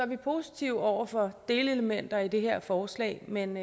vi positive over for delelementer i det her forslag men